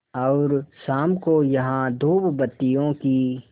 और शाम को यहाँ धूपबत्तियों की